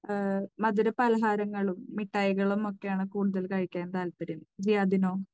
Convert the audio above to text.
അഹ്, മധുര പലഹാരങ്ങളും മിഠായികളും ഒക്കെയാണ് കൂടുതൽ കഴിക്കാൻ താല്പര്യം. ജിയാദിനോ?